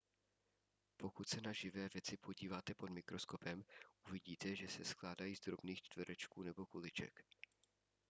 pokud se na živé věci podíváte pod mikroskopem uvidíte že se skládají z drobných čtverečků nebo kuliček